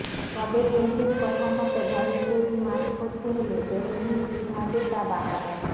তবে কেন্দ্রের কথা মতো ঘরে তৈরি মাস্ক পরতে হলে জেনে নিন কীভাবে তা বানাবেন